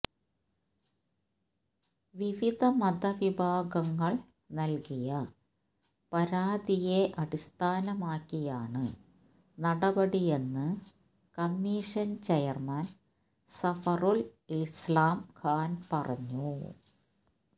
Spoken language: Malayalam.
വിവിധ മതവിഭാഗങ്ങൾ നൽകിയ പരാതിയെ അടിസ്ഥാനമാക്കിയാണ് നടപടിയെന്ന് കമ്മീഷൻ ചെയർമാൻ സഫറുൽ ഇസ്ലാം ഖാൻ പറഞ്ഞു